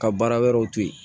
Ka baara wɛrɛw to ye